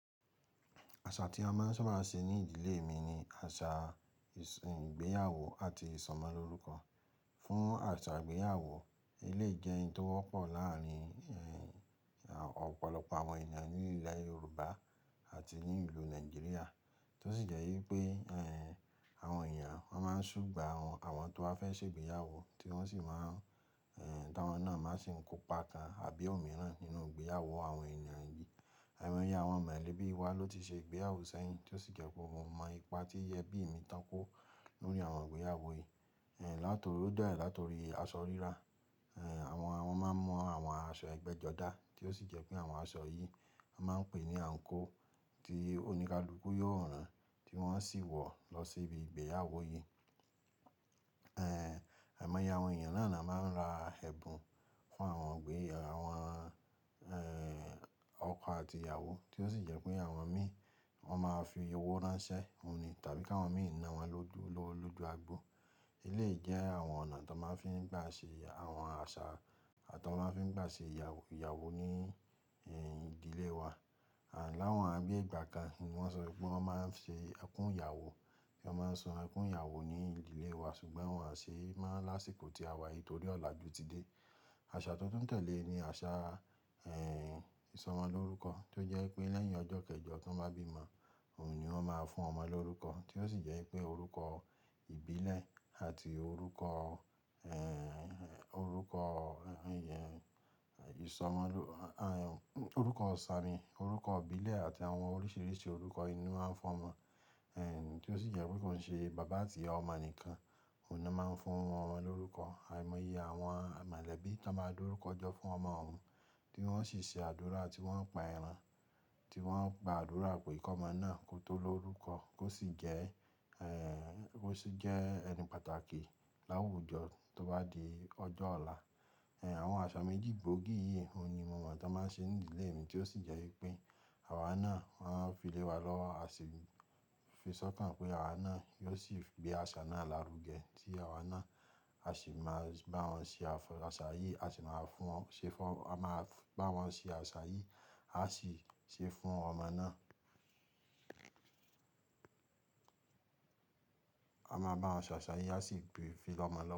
Asa tí à máa ń sábà se ní ìdílé mi ní asa ìgbéyàwó àti isomo ló rúko fún àṣà ìgbéyàwó, éléyì jẹ́ hun tó wọ́pọ̀ láàárin ọ̀pọ̀lọpọ̀ àwọn ènìyàn ní ìlè Yorùbá àti ní ìlú Nàìjíríà. Tó sì jẹ́ ípé àwọn èèyàn wón máa ń súgbà won, àwọn tó bá fẹ́ ṣe ìgbéyàwó tí wọ́n sì máa ń táwọn náà máa sì ń kópa kan àbí ọ̀ mìíràn nínú ìgbéyàwó àwọn ènìyàn yìí. Àìmọye àwọn mọ̀lẹ́bí wa ló ti ṣe ìgbéyàwó sẹ́yìn, tó sì jẹ́ pé mo mọ ipa tí ẹbí mi tán kó lórí àwọn ìgbéyàwó yìí. Látorí ó dà ẹ́ látorí aṣọ rírà, àwọn máa ń mú àwọn aṣọ ẹgbẹ́jọdá tí ó sì jẹ́ pé àwọn aṣọ yìí à máa ń pè ní àǹkó tí oníkalúgù yóò rán tí wọ́n sì wọ̀ lọ síbi ìgbéyàwó yìí. Àìmọye àwọn èèyàn náà ni a máa ń ra ẹ̀bùn fún àwọn ọ̀gbẹ́, àwọn ọkọ àti ìyàwó tí ó sì jẹ́ pé àwọn mí wọ́n máa fi owó ránṣẹ́, òun ni tàbí kà wọn mìí ná wọ́n lówó lójú agbo. Éléyì jẹ́ àwọn ọ̀nà tó máa ń fi gbà ṣe àwọn àṣà, à tọ máa ń fi gbà ṣe ìyàwó ní ìdílé wa. Láwọn àbí yé ìgbà kan ni wọ́n sọ wípé wọ́n máa ń ṣe ẹkún ìyàwó, ló máa ń sun ẹkún ìyàwó ní ìdílé wa ṣùgbọ́n wọn ṣe é mò láṣìkò tí à wà yìí torí ọ̀la ju ti dé. Àṣà tó tún tẹ̀lé ni àṣà ìsọmọlórúkọ tí ó jẹ́ pé lẹ́yìn ọjọ́ kẹjọ tí wọ́n bá bímo, òun ni wọ́n máa fún ọmọ lórúkọ tí ó sì jẹ́ pé orúkọ ìbílẹ̀ àti orúkọ, orúkọ ìsọmọlórú, orúkọ sàámì, orúkọ ìbílẹ̀ àti àwọn oríṣìíríṣìí orúkọ inú a ń fún ọmọ. Tó sì jé pé kó ń se baba àti ìyá omo nìkan òun ló máa ń fún omo lórúko, àìmoye àwon molebi tó má dá orúko jó fún omo wùn, tí wón ó sì se àdúrà tí wón ò pà èràn, tí wón ó gbà àdúrà pé kòmó náà kó tò lórúko, kó sì jé kó sí je ènì pàtàkì là wù jó tó bá di òjò ola. Àwọn àṣà méjì gbóògì yìí òun ni mo mọ̀ tó máa ń ṣe ní ìdílé mi tí ó sì jẹ́ wípé àwa náà wòn fi lẹ́wa lówó, à sì fi sọ́kàn pé àwa náà yóò sì gbé àṣà náà lárugẹ tí àwa náà a sì máa bá wọn ṣe àṣà yìí, a sì máa fún, ṣe fún, a máa bá wọn ṣe àṣà yìí, a sì ṣe fún ọmọ náà. À mà bá won se asà yì, à sì gbé fi lómó lówó.